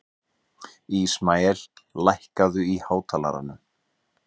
Ísmael, lækkaðu í hátalaranum.